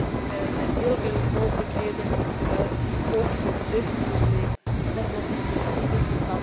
Hierin zijn heel veel mogelijkheden die ook voor dit probleem een oplossing kunnen bieden.